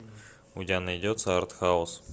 у тебя найдется артхаус